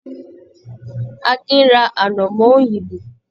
Akin ra anamọ òyìnbó.